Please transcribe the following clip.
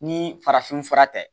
Ni farafin fura tɛ